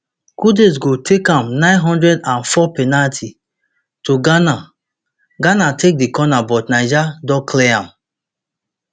kudus go take am nine hundred and four penalty to ghana ghana take di corner but niger don clear am